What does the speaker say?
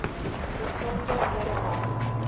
besonderhedename